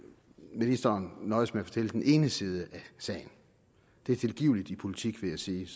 ministeren nøjedes med at fortælle den ene side af sagen det er tilgiveligt i politik vil jeg sige